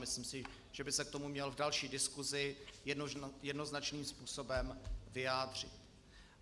Myslím si, že by se k tomu měl v další diskusi jednoznačným způsobem vyjádřit.